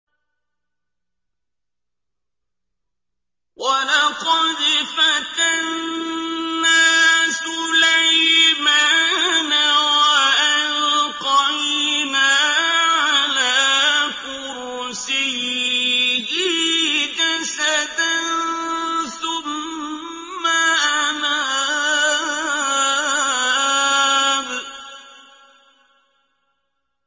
وَلَقَدْ فَتَنَّا سُلَيْمَانَ وَأَلْقَيْنَا عَلَىٰ كُرْسِيِّهِ جَسَدًا ثُمَّ أَنَابَ